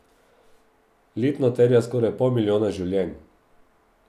Letno terja skoraj pol milijona življenj.